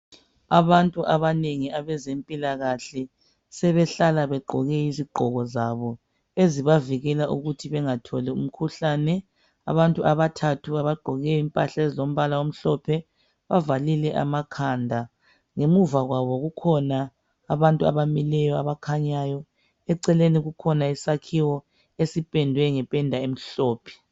Abantu abanengi abezempilakahle sebehlala begqoke izigqoko zabo ezibavikela ukuthi bengatholi umkhuhlane abantu abathathu abagqoke impahla ezilombala omhlophe bavalile amakhanda ngemuva kwabo kukhona abantu abamileyo abakhanyayo eceleni kukhona isakhiwo esipendwe ngependa emhlophe